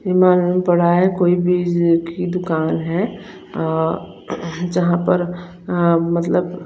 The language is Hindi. कोई भी इस की दुकान है अ जहा पर अ मत्लभ--